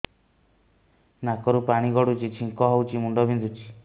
ନାକରୁ ପାଣି ଗଡୁଛି ଛିଙ୍କ ହଉଚି ମୁଣ୍ଡ ବିନ୍ଧୁଛି